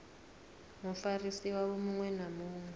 mufarisi wavho muṅwe na muṅwe